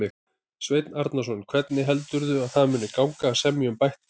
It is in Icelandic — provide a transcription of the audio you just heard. Sveinn Arnarson: Hvernig heldurðu að það muni gangi að semja um bætt kjör?